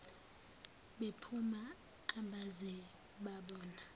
bephuma abaze babona